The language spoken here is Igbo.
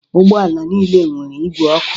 Ụgbọala niile nwèrè ìgwè ọkụ.